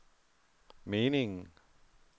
meningen